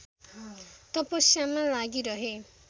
तपस्यामा लागिरहे